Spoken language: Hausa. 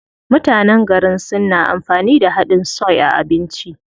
Mutanen garin Sin na amfani da haɗin soy a abinci.